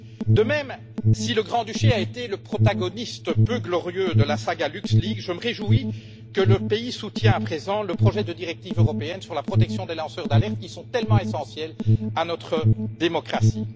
De même, si le Grand Duché a été le protagoniste peu glorieux de la saga LuxLeaks je me réjouis qu'il soutienne à présent le projet de directive européenne sur la protection des lanceurs d'alerte, qui sont tellement essentiels à notre démocratie.